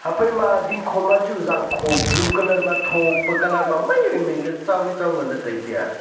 haphai ma dingkho ma chu zangkho blue colour ma tho pe colour ma mai wai mai le tsao wai tsao ngan le tai tai a.